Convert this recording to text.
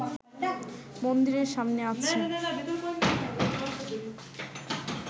মন্দিরের সামনে আছে